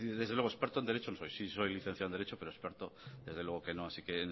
desde luego experto en derecho no soy sí soy licenciado en derecho pero experto desde luego que no así que